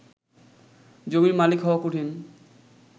জমির মালিক হওয়া কঠিন